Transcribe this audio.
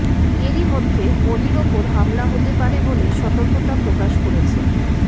এরইমধ্যে মোদীর ওপর হামলা হতে পারে বলে সতর্কতা প্রকাশ করেছে